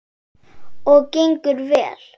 Og gengur vel.